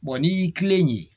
n'i y'i tilen